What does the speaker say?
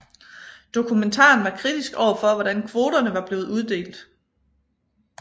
Dokumentaren var kritisk overfor hvordan kvoterne var blevet uddelt